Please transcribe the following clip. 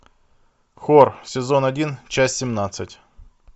хор сезон один часть семнадцать